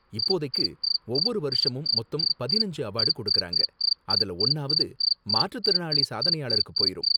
இப்போதைக்கு ஒவ்வொரு வருஷமும் மொத்தம் பதினஞ்சு அவார்டு கொடுக்கறாங்க, அதுல ஒன்னாவது மாற்றுத்திறனாளி சாதனையாளருக்கு போயிரும்